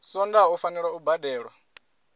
swondaha u fanela u badelwa